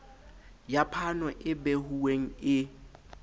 ya phano e behuweng e